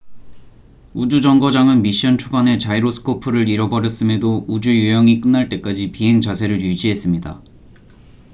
우주 정거장은 미션 초반에 자이로스코프를 잃어버렸음에도 우주 유영이 끝날 때까지 비행 자세를 유지했습니다